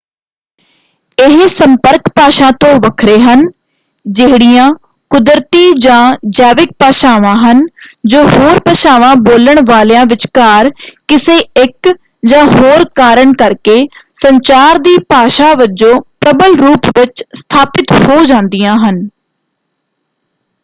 ਇਹ ਸੰਪਰਕ ਭਾਸ਼ਾ ਤੋਂ ਵੱਖਰੇ ਹਨ ਜਿਹੜੀਆਂ ਕੁਦਰਤੀ ਜਾਂ ਜੈਵਿਕ ਭਾਸ਼ਾਵਾਂ ਹਨ ਜੋ ਹੋਰ ਭਾਸ਼ਾਵਾਂ ਬੋਲਣ ਵਾਲਿਆਂ ਵਿਚਕਾਰ ਕਿਸੇ ਇੱਕ ਜਾਂ ਹੋਰ ਕਾਰਨ ਕਰਕੇ ਸੰਚਾਰ ਦੀ ਭਾਸ਼ਾ ਵਜੋਂ ਪ੍ਰਬਲ ਰੂਪ ਵਿੱਚ ਸਥਾਪਿਤ ਹੋ ਜਾਂਦੀਆਂ ਹਨ।